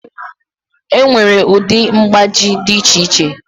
Enwere ụdị mgbaji dị iche iche.